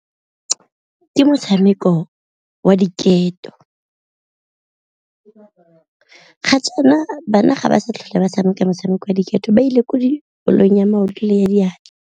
Ke motshameko wa diketo, ga jaana bana ga ba sa tlhole ba tshameka motshameko wa diketo ba ile ko dibolong ya maoto le ya diatla.